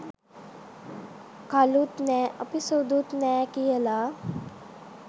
කළුත් නෑ අපි සුදුත් නැහැ කියලා.